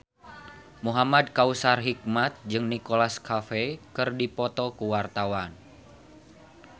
Muhamad Kautsar Hikmat jeung Nicholas Cafe keur dipoto ku wartawan